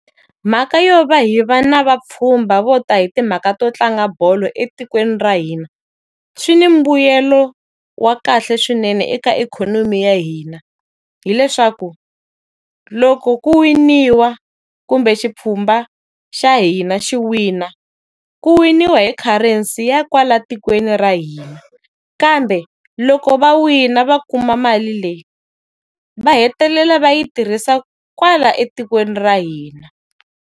Mhaka yo va hi va na vapfhumba vo ta hi timhaka to tlanga bolo etikweni ra hina, swi ni mbuyelo wa kahle swinene eka ikhonomi ya hina. Hileswaku, loko ku winiwa, kumbe xipfhumba xa hina xi wina, ku winiwa hi currency ya kwala tikweni ra hina. Kambe, loko va wina va kuma mali leyi, va hetelela va yi tirhisa kwala etikweni ra hina.